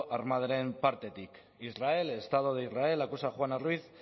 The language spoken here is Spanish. armadaren partetik israel el estado de israel acusa a juana ruiz